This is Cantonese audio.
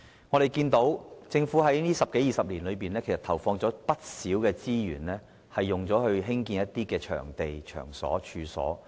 我們看到，政府在過去十多二十年投放了不少資源興建一些場地和場所。